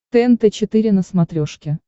тнт четыре на смотрешке